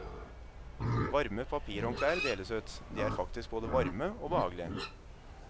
Varme papirhåndklær deles ut, de er faktisk både varme og behagelige.